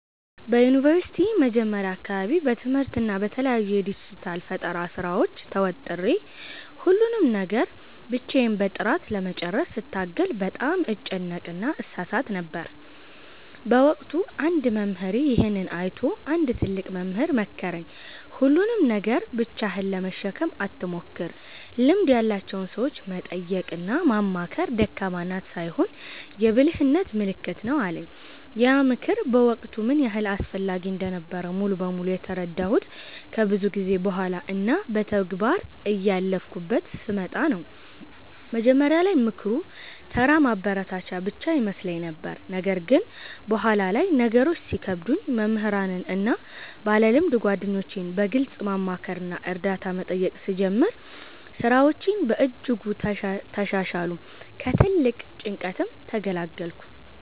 በዩኒቨርሲቲ መጀመሪያ አካባቢ በትምህርትና በተለያዩ የዲጂታል ፈጠራ ሥራዎች ተወጥሬ፣ ሁሉንም ነገር ብቻዬን በጥራት ለመጨረስ ስታገል በጣም እጨነቅና እሳሳት ነበር። በወቅቱ አንድ መምህሬ ይሄንን አይቶ አንድ ትልቅ ምክር መከረኝ፦ "ሁሉንም ነገር ብቻህን ለመሸከም አትሞክር፤ ልምድ ያላቸውን ሰዎች መጠየቅና ማማከር ደካማነት ሳይሆን የብልህነት ምልክት ነው" አለኝ። ያ ምክር በወቅቱ ምን ያህል አስፈላጊ እንደነበረ ሙሉ በሙሉ የተረዳሁት ከብዙ ጊዜ በኋላ እና በተግባር እያለፍኩበት ስመጣ ነው። መጀመሪያ ላይ ምክሩ ተራ ማበረታቻ ብቻ ይመስለኝ ነበር። ነገር ግን በኋላ ላይ ነገሮች ሲከብዱኝ መምህራንን እና ባለልምድ ጓደኞቼን በግልጽ ማማከርና እርዳታ መጠየቅ ስጀምር፣ ሥራዎቼ በእጅጉ ተሻሻሉ፤ ከትልቅ ጭንቀትም ተገላገልኩ።